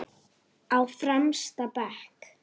Á fremsta bekk.